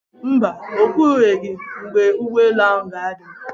Mba, o kwubeghi mgbe ụgbọelu ahụ ga-ada.